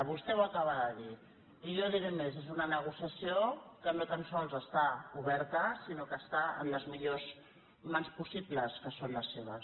vostè ho acaba de dir i jo diré més és una negociació que no tan sols està oberta sinó que està en les millors mans possibles que són les seves